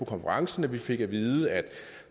konferencen fik at vide at